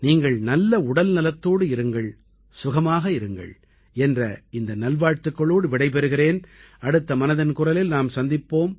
நீங்கள் நல்ல உடல்நலத்தோடு இருங்கள் சுகமாக இருங்கள் என்ற இந்த நல்வாழ்த்துக்களோடு விடைபெறுகிறேன் அடுத்த மனதின் குரலில் நாம் சந்திப்போம்